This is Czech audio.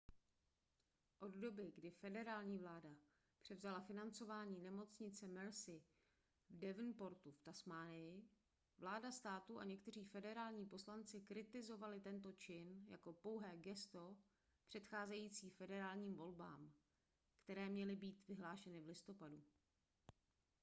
od doby kdy federální vláda převzala financování nemocnice mersey v devonportu v tasmánii vláda státu a někteří federální poslanci kritizovali tento čin jako pouhé gesto předcházející federálním volbám které měly být vyhlášeny v listopadu